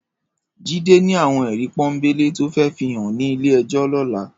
Jide ni àwón èrí pònbélé tó fè fihán ni ilé èjò lòlá